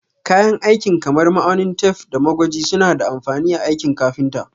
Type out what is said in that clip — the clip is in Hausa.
Kayan aikin kamar ma'aunin tef, da magwaji suna da amfani a aikin kafinta.